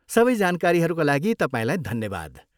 सबै जानकारीहरूका लागि तपाईँलाई धन्यवाद।